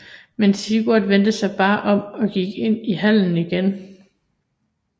Men Sigurd vendte sig bare om og gik ind i hallen igen